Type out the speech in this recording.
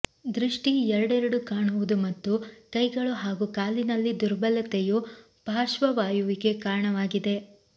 ದೃಷ್ಟಿ ಎರಡೆರಡು ಕಾಣುವುದು ಮತ್ತು ಕೈಗಳು ಹಾಗೂ ಕಾಲಿನಲ್ಲಿ ದುರ್ಬಲತೆಯು ಪಾರ್ಶ್ವವಾಯುವಿಗೆ ಕಾರಣವಾಗಿದೆ